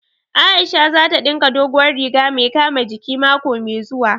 Aisha za ta ɗinka dogowar riga mai kama jiki mako mai zuwa